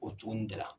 O cogo in de la